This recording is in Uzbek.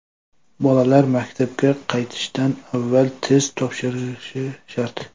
Bolalar maktabga qaytishdan avval test topshirishi shart.